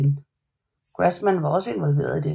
Grassmann var også involveret i dette